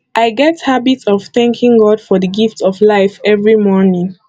i get habit of thanking god for di gift of life every morning